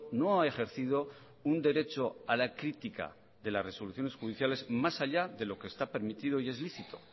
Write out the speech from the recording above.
no ha ejercido un derecho a la crítica de las resoluciones judiciales más allá de lo que está permitido y es lícito